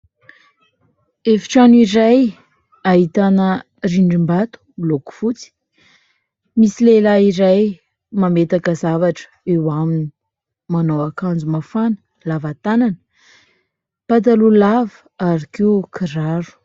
Efitrano iray ahitana rindrim-bato miloko fotsy. Misy lehilahy iray mametaka zavatra eo aminy manao akanjo mafana lavatanana, pataloha lava ary koa kiraro.